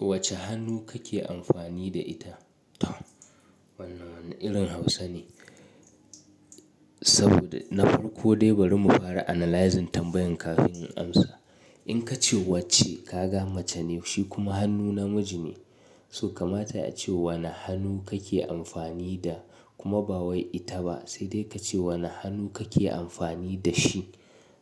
Wace hannu kake amfani da ita? To, wannan irin Hausa ne, saboda na farko dai bari mu fara analyzing tambayan kafin in amsa. In ka ce wacce, ka ga mace ne shi kuma hannu namiji ne. So kamata a ce wane hannu kake amfani da kuma ba wai ita ba, sai dai ka ce wane hannu kake amfani da shi.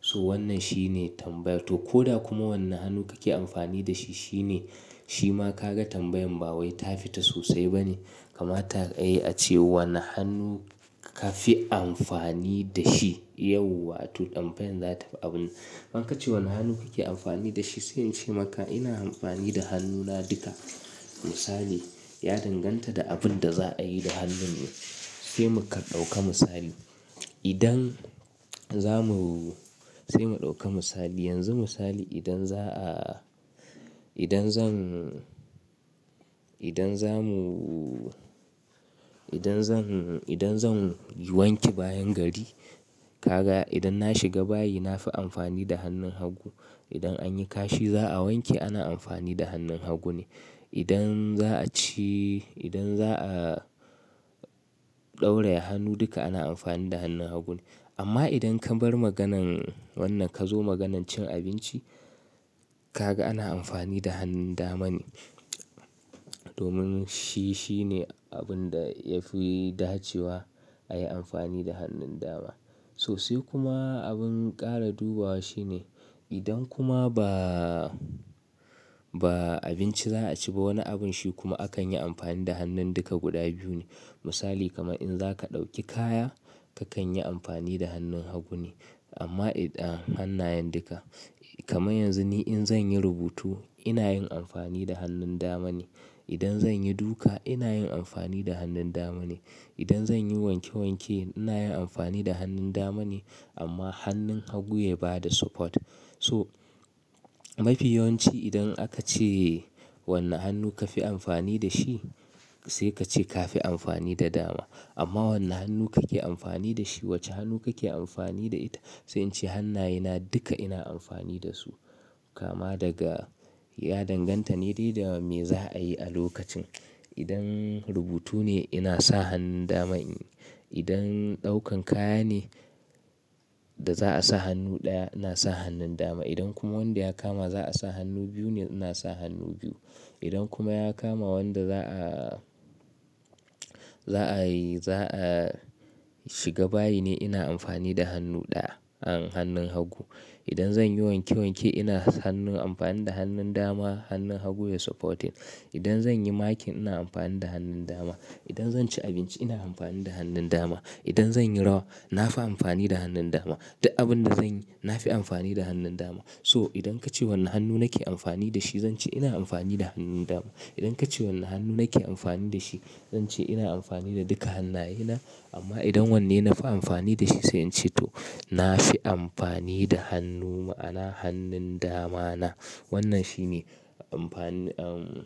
So wannan shine tambaya. To ko da kuma wane hannu kake amfani da shi shine, shi ma ka ga tambayan ba wai ta fita sosai ba ne. Kamata ai a ce wane hannu ka fi amfani da shi yau, wato tambayan za ta fi abun. Man ka ce wane hannu kake amfani da shi? Sai in ce maka ina amfani da hannuna duka. Misali, ya danganta da abin da za a yi da hannun ne, sai mu kar ɗauka misali. Idan za mu-- sai mu ɗauka misali. Yanzu misali idan za a, idan zan, idan za mu, idan zan, idan zan yi wanke bayan gari, ka ga idan na shiga bayi na fi amfani da hannun hagu. Idan anyi kashi za a wanke ana amfani da hannun hagu ne. Idan za a ci, idan za a ɗauraye hannu duka ana amfani da hannun hagu ne. Amma idan ka bar maganan wannan ka zo maganan cin abinci, ka ga ana amfani da hannun dama ne. Domin shi shine abin da ya fi dacewa a yi amfani da hannun dama. Sosai kuma abin ƙara dubawa shine, idan kuma ba, ba abinci za a ci ba wani abun shi kuma akan yi amfani da hannun duka guda biyu ne. Misali kamar in zaka ɗauki kaya, kakan yi amfani da hannun hagu ne. Amma idan hannayen duka. Kaman yanzu ni in zan yi rubutu ina yin amfani da hannun dama ne. Idan zan yi duka ina yin amfani da hannun dama ne. Idan zan yi wanke wanke ina yin amfani da hannun dama ne. Amma hannun hagu ya ba da support. So mafi yawanci idan aka ce wane hannu ka fi amfani da shi, sai ka ce ka fi amfani da dama. Amma wane hannu kake amfani da shi? Wace hannu kake amfani da ita? Sai in ce hannayena duka ina amfani da su. Kama daga ya danganta ne da me za a yi a lokacin. Idan rubutu ne ina sa hannun dama. Idan ɗaukan kaya ne da za a sa hannu ɗaya, na sa hannun dama. Idan kuma wanda ya kama za a sa hannu biyu ne, na sa hannu biyu. Idan kuma ya kama wanda za a, za a yi, za a shiga bayi ne ina amfani da hannu ɗaya, hannun hagu. Idan zan yi wanke wanke ina hannun amfani da hannun dama, hannun hagu ya supporting. Idan zan yi makin ina amfani da hannun dama. Idan zan ci abinci ina amfani da hannun dama. Idan zan yi rawa na fi amfani da hannun dama. Duk abin da zan yi na fi amfani da hannun dama. So idan kace wane hannu nake amfani da shi, zan ce ina amfani da hannun dama. Idan kace wane hannu nake amfani da shi, zan ce ina amfani da duka hannayena. Amma idan wanne na fi amfani da shi sai in ce to na fi amfani da hannu ma'ana hannun damana. Wannan shine amfani, um,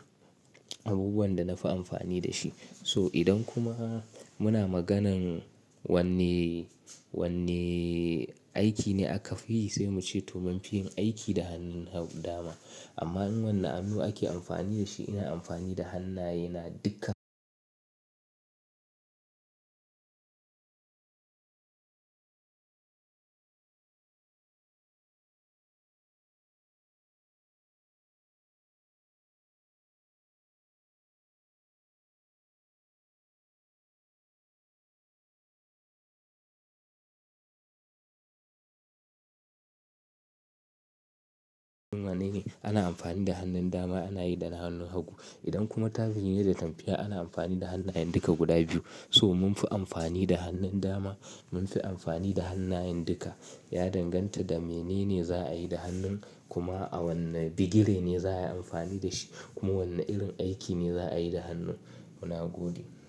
abubuwan da na fi amfani da shi. So idan kuma muna maganan wanne, wanne aiki ne aka fi yi sai mu ce domin fi yin aiki da hannun dama. Amma in wane hannu ake amfani da shi, ina amfani da hannayena duka. Mana ne ana amfani da hannun dama ana yi dana hannun hagu. Idan kuma ta zai yi ne da tafiya ana amfani da hannayen duka guda biyu. So mun fi amfani da hannun dama, mun fi amfani da hannayen duka. Ya danganta da menene za a yi da hannun kuma a wanne digire ne za a yi amfani da shi, kuma wane irin aiki ne za a yi da hannu muna gode.